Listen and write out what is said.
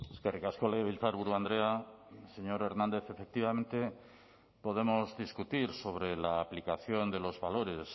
eskerrik asko legebiltzarburu andrea señor hernández efectivamente podemos discutir sobre la aplicación de los valores